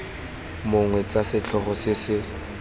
mong tsa setlhogo se se